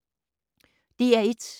DR1